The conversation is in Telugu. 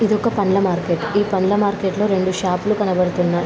ఇది ఒక పండ్ల మార్కెట్ . ఈ పండ్ల మార్కెట్ లో రెండు షాప్ లు కనబడుతున్నాయి.